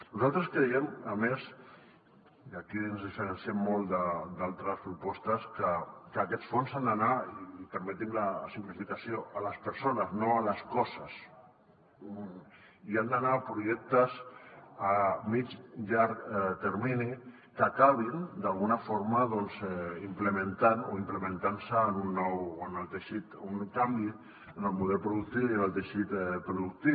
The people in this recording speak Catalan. nosaltres creiem a més i aquí ens diferenciem molt d’altres propostes que aquests fons han d’anar i permetin me la simplificació a les persones no a les coses i han d’anar a projectes a mitjà i llarg termini que acabin d’alguna forma implementant o implementant se en el teixit un canvi en el model productiu i en el teixit productiu